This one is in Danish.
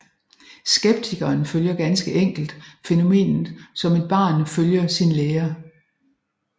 Skeptikeren følger ganske enkelt fænomenet som et barn følger sin lærer